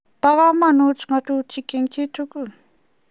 Pa kamanut ngatutik eng chii tugul